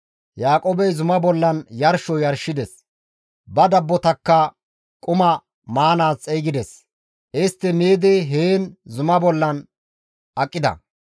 Yaaqoobey zumaa bollan yarsho yarshides; ba dabbotakka quma maanaas xeygides; istti miidi heen zuma bollan aqida.